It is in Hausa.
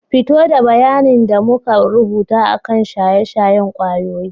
Fito da bayanin da muka rubuta akan shaye-shayen kwayoyi.